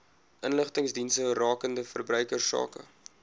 inligtingsdienste rakende verbruikersake